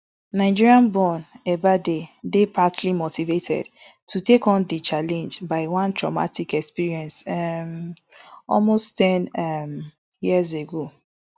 nigerianborn ebaide dey partly motivated to take on di challenge by one traumatic experience um almost ten um years ago